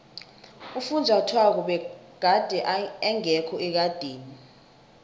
ufunjathwako begade engekho ekadeni